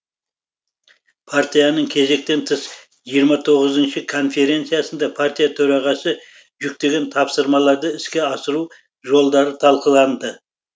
партияның кезектен тыс жиырма тоғызыншы конференциясында партия төрағасы жүктеген тапсырмаларды іске асыру жолдары талқыланды